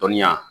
Dɔnniya